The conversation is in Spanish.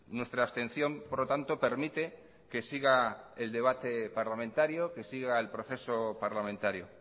nuestra abstención por lo tanto permite que siga el debate parlamentario que siga el proceso parlamentario